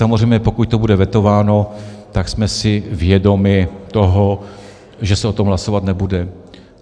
Samozřejmě pokud to bude vetováno, tak jsme si vědomi toho, že se o tom hlasovat nebude.